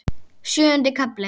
Sjöundi kafli